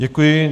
Děkuji.